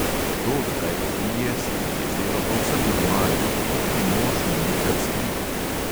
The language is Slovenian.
To, da kaj popije, se ji je zdelo povsem normalno, pa tudi mož ni nikdar skrival.